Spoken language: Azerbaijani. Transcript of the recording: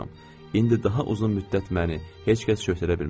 İndi daha uzun müddət məni heç kəs şöhrətlədə bilməz.